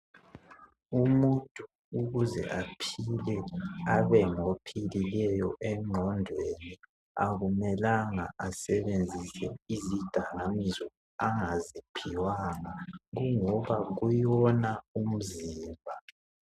Umuntu ukuze aphile abe ngophilileyo engqondweni akumelanga asebenzise izidakamizwa angaziphiwanga kungoba kuwona umzimba.